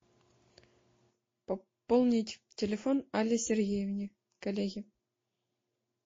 пополнить телефон алле сергеевне коллеге